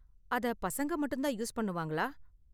அத பசங்க மட்டும் தான் யூஸ் பண்ணுவாங்களா?